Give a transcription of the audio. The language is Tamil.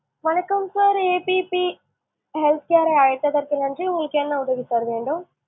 வணக்கம் sir APP health care உங்களுக்கு என்ன உதவி sir வேணும்?